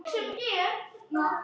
Fía fékk tak.